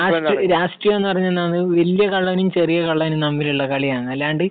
രാഷ്ട്രീയം, രാഷ്ട്രീയം എന്നു പറഞ്ഞാൽ എന്താണ്? വലിയ കള്ളനും ചെറിയ കള്ളനും തമ്മിലുള്ള കളിയാണ്. അല്ലാണ്ട്